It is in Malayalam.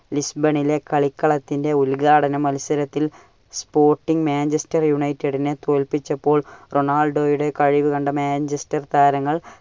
ലിസ്ബണിലെ കളിക്കളത്തിന്റെ ഉത്ഘാടന മത്സരത്തിൽ Sporting Manchester United നെ തോല്പിച്ചപ്പോൾ റൊണാൾഡോയുടെ കഴിവ് കണ്ട Manchester താരങ്ങൾ